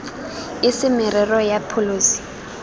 e se merero ya pholesi